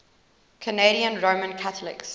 canadian roman catholics